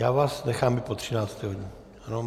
Já vás nechám i po 13. hodině.